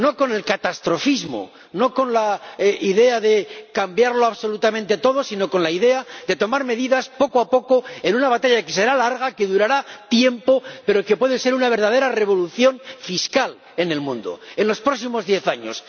No con el catastrofismo, no con la idea de cambiar absolutamente todo, sino con la idea de tomar medidas poco a poco, en una batalla que será larga, que durará tiempo, pero que puede ser una verdadera revolución fiscal en el mundo en los próximos diez años.